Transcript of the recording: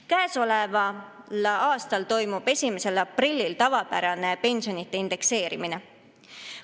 Käesoleval aastal toimub 1. aprillil tavapärane pensionide indekseerimine.